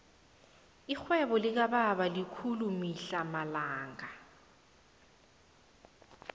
irhwebo likababa likhulu mihla namalanga